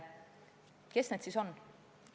Kes need siis on?